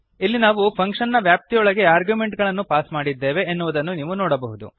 ಇಲ್ಲಿ ನಾವು ಫಂಕ್ಶನ್ ನ ವ್ಯಾಪ್ತಿಯೊಳಗೆ ಆರ್ಗ್ಯುಮೆಂಟುಗಳನ್ನು ಪಾಸ್ ಮಾಡಿದ್ದೇವೆ ಎನ್ನುವುದನ್ನು ನೀವು ನೋಡಬಹುದು